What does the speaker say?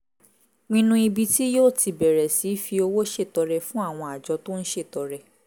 pinnu ibi tí yóò ti bẹ̀rẹ̀ sí fi owó ṣètọrẹ fún àwọn àjọ tó ń ṣètọrẹ